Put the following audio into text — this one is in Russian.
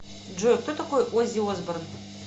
джой кто такой оззи осборн